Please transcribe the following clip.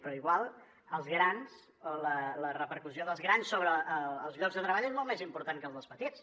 però potser els grans la repercussió dels grans sobre els llocs de treball és molt més important que la dels petits